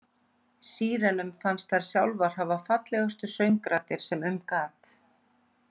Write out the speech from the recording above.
Sírenunum fannst þær sjálfar hafa fallegustu söngraddir sem um gat.